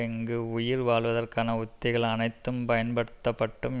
இங்கு உயிர் வாழ்வதற்கான உத்திகள் அனைத்தும் பயன்படுத்தப்பட்டும்